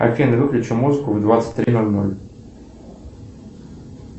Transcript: афина выключи музыку в двадцать три ноль ноль